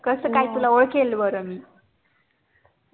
कसं काय तुला ओळखेल बर मी